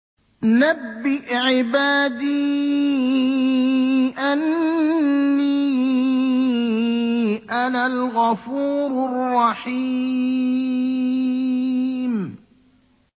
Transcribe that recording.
۞ نَبِّئْ عِبَادِي أَنِّي أَنَا الْغَفُورُ الرَّحِيمُ